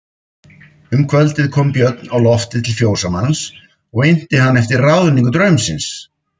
Um kvöldið kom Björn á loftið til fjósamanns og innti hann eftir ráðningu draumsins.